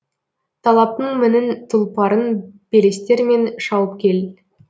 талаптың мінін тұлпарын белестермен шауып кел